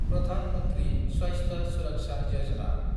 Pradhan Mantri Swasthya Suraksha Yojana